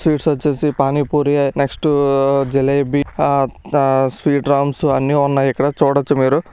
Sweets వచ్చేసి panipuri next jalebi ఆ ఆ స్వీట్ రామ్స్ అన్ని ఉన్నాయి ఇక్కడ చూడొచ్చు మీరు.